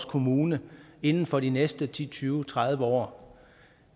kommune inden for de næste ti til tyve tredive år